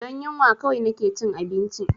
Don yunwa kawai na ke cin cincin